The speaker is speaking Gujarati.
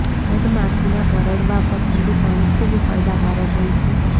મધમાખીના કરડવા પર ઠંડુ પાણી ખુબ ફાયદાકારક હોય છે